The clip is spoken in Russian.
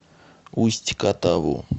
усть катаву